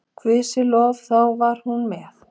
Guði sé lof, þá var hún með.